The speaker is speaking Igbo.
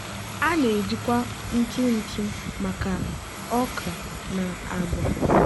a na-ejikwa ntụ ntụ maka okra na agwa.